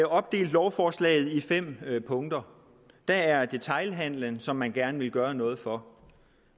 opdelt lovforslaget i fem punkter der er detailhandelen som man gerne vil gøre noget for